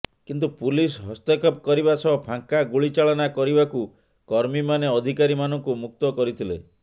କିନ୍ତୁ ପୁଲିସ୍ ହସ୍ତକ୍ଷେପ କରିବା ସହ ଫାଙ୍କା ଗୁଳି ଚାଳନା କରିବାକୁ କର୍ମୀମାନେ ଅଧିକାରୀମାନଙ୍କୁ ମୁକ୍ତ କରିଥିଲେ